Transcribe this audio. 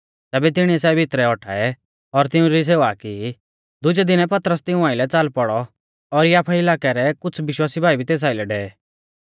तैबै तिणीऐ सै भितरै औटाऐ और तिउंरी सेवा की दुजै दिनै पतरस तिऊं आइलै च़ाल पौड़ौ और याफा इलाकै रै कुछ़ विश्वासी भाई भी तेस आइलै डेवे